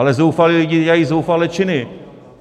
Ale zoufalí lidé dělají zoufalé činy.